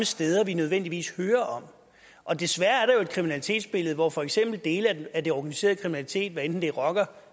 steder vi nødvendigvis hører om og desværre er der jo et kriminalitetsbillede hvor for eksempel dele af den organiserede kriminalitet hvad enten det er rockere